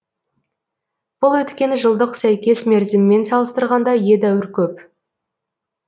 бұл өткен жылдық сәйкес мерзіммен салыстырғанда едәуір көп